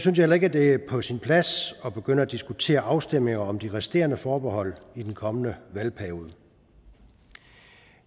heller ikke at det er på sin plads at begynde at diskutere afstemninger om de resterende forbehold i den kommende valgperiode